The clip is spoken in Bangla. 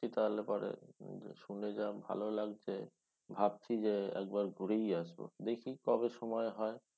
তাহলে পরে শুনে যা ভালো লাগছে ভাবছি যে একবার ঘুরেই আসব। দেখি কবে সময় হয়।